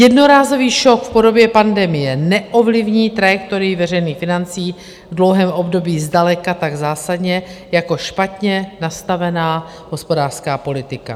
Jednorázový šok v podobě pandemie neovlivní trajektorii veřejných financí v dlouhém období zdaleka tak zásadně jako špatně nastavená hospodářská politika.